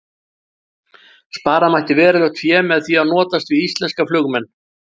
Spara mætti verulegt fé með því að notast við íslenska flugmenn.